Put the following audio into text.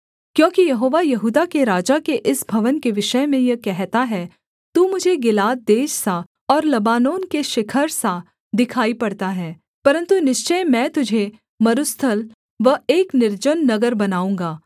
क्योंकि यहोवा यहूदा के राजा के इस भवन के विषय में यह कहता है तू मुझे गिलाद देश सा और लबानोन के शिखर सा दिखाई पड़ता है परन्तु निश्चय मैं तुझे मरुस्थल व एक निर्जन नगर बनाऊँगा